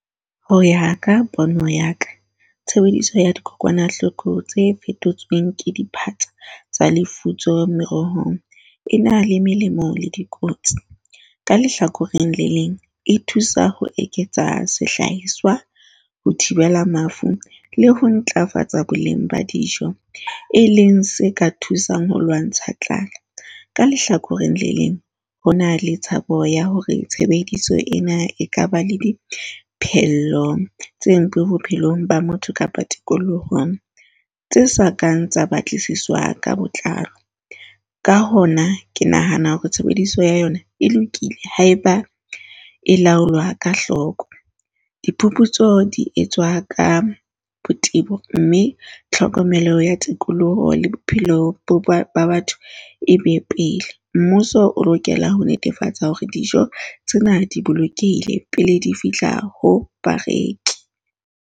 Ho ya ka pono ya ka, tshebediso ya dikokwanahloko tse fetotsweng ke tsa lefutso merohong e na le melemo le dikotsi. Ka lehlakoreng le leng, e thusa ho eketsa sehlahiswa ho thibela mafu le ho ntlafatsa boleng ba dijo, e leng se ka thusang ho lwantsha tlala. Ka lehlakoreng le leng, ho na le tshabo ya hore tshebediso ena e ka ba le diphello tse ntle bophelong ba motho kapa tikolohong tse sa kang tsa batlisiswa ka botlalo. Ka hona ke nahana hore tshebediso ya yona e lokile. Haeba e laolwa ka hloko. Diphuputso di etswa ka botebo mme tlhokomelo ya tikoloho le bophelo ba batho e be pele. Mmuso o lokela ho netefatsa hore dijo tsena di bolokehile pele di fihla ho bareki.